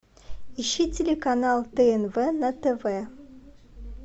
ищи телеканал тнт на тв